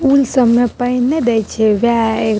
उ ई सब में पहिने देइ छे गाए --